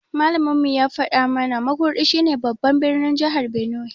Malamin mu ya faɗa mu na Makurdi shi ne babban birnin jahar Benue